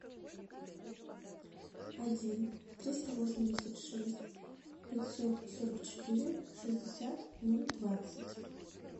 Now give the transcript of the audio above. один триста восемьдесят шесть пятьсот сорок четыре шестьдесят ноль двадцать